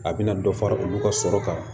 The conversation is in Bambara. A bɛna dɔ fara olu ka sɔrɔ kan